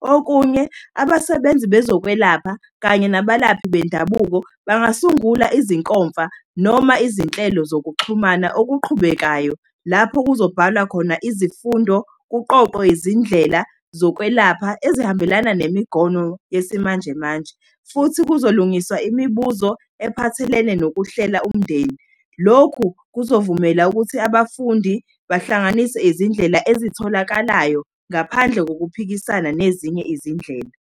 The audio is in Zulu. Okunye, abasebenzi bezokwelapha kanye nabalaphi bendabuko bangasungula izinkomfa, noma izinhlelo zokuxhumana okuqhubekayo lapho kuzobhalwa khona izifundo, kuqoqwe izindlela zokwelapha ezihambelana yesimanjemanje. Futhi kuzolungiswa imibuzo ephathelene nokuhlela umndeni. Lokhu kuzovumela ukuthi abafundi bahlanganise izindlela ezitholakalayo ngaphandle kokuphikisana nezinye izindlela.